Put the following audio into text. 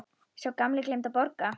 Sá gamli gleymdi að borga.